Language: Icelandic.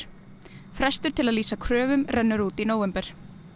frestur til að lýsa kröfum rennur út í nóvember